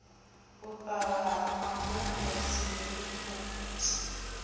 u kavha ha mabupo dzihelikhophutha